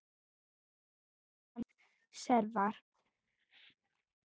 Sá sem sefar.